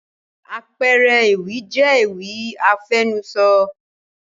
àpẹẹrẹ ewì jẹ́ ewì àfẹnusọ